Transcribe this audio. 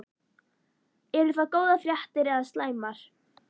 Eru það góðar fréttir eða slæmar?